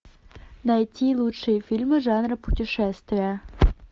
найти лучшие фильмы жанра путешествия